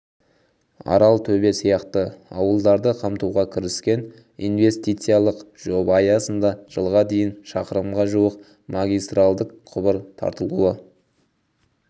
аралтөбе сияқты ауылдарды қамтуға кіріскен инвестициялық жоба аясында жылға дейін шақырымға жуық магистральдік құбыр тартылуы